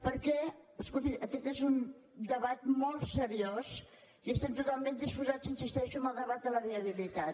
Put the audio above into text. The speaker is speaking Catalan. perquè escolti aquest és un debat molt seriós i estem totalment disposats hi insisteixo al debat de la viabilitat